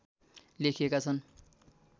लेखिएका छन्